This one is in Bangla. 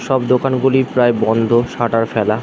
সব দোকানগুলি প্রায় বন্ধ শাটার ফেলা।